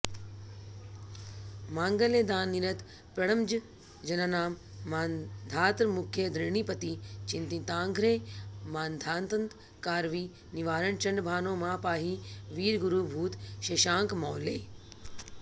माङ्गल्यदाननिरत प्रणमज्जनानां मान्धातृमुख्यधरणीपति चिन्तिताङ्घ्रे मान्धान्तकारविनिवारणचण्डभानो मां पाहि वीरगुरुभूत शशाङ्कमौले